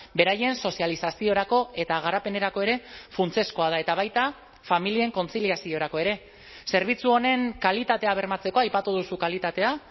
beraien sozializaziorako eta garapenerako ere funtsezkoa da eta baita familien kontziliaziorako ere zerbitzu honen kalitatea bermatzeko aipatu duzu kalitatea